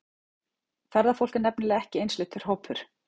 Ferðafólk er nefnilega ekki einsleitur hópur.